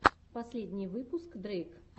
последний выпуск дрейк